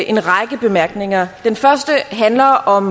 en række bemærkninger den første handler om